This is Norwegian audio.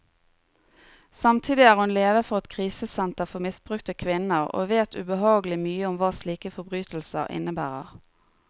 Samtidig er hun leder for et krisesenter for misbrukte kvinner, og vet ubehagelig mye om hva slike forbrytelser innebærer.